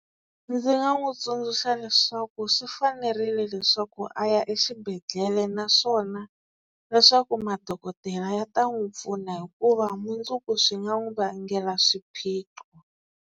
Ndzi nga n'wi tsundzuxa leswaku swi fanerile leswaku a ya exibedhlele, naswona leswaku madokodela ya ta n'wi pfuna hikuva mundzuku swi nga n'wi vangela swiphiqo.